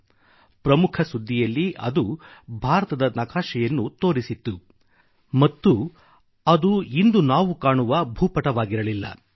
ತಮ್ಮ ಪ್ರಮುಖ ಸುದ್ದಿಯಲ್ಲಿ ಅವರು ಭಾರತದ ನಕಾಶೆಯನ್ನು ತೋರಿಸಿದ್ದರು ಮತ್ತು ಅದು ಇಂದು ನಾವು ಕಾಣುವ ಭೂಪಟವಾಗಿರಲಿಲ್ಲ